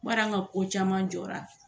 Bari an ka ko caman jɔra